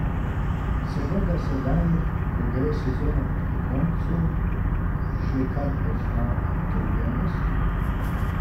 Se morda sedaj, ko gre sezona proti koncu, že kaj pozna utrujenost?